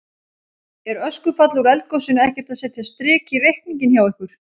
Er öskufall úr eldgosinu ekkert að setja strik í reikninginn hjá ykkur?